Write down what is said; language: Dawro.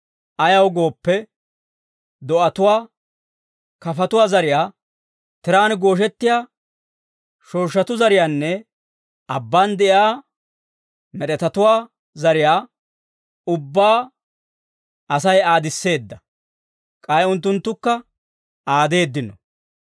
Ayaw gooppe, do'atuwaa, kafatuwaa zariyaa, tiraan gooshettiyaa shooshshatuu zariyaanne abbaan de'iyaa med'etatuwaa zariyaa ubbaa Asay aadisseedda; k'ay unttunttukka aadeeddino.